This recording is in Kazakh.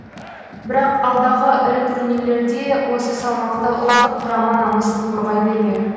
бірақ алдағы ірі турнирлерде осы салмақта ұлттық құрама намысын қорғай бермек